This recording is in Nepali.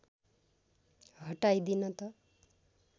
हटाइदिन त